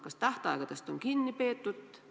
Kas tähtaegadest on kinni peetud?